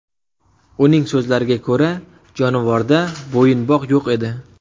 Uning so‘zlariga ko‘ra, jonivorda bo‘yinbog‘ yo‘q edi.